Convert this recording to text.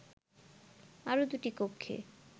আরো দুটি কক্ষে